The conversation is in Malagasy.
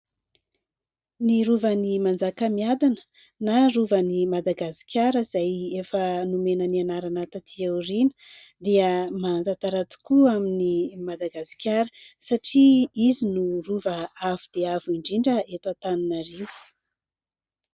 Ny Rovan'i Manjakamiadana, na Rovan'i Madagasikara, izay efa nomena ny anarana taty aoriana, dia manan-tantara tokoa amin'i Madagasikara satria izy no Rova avo dia avo indrindra eto Antananarivo.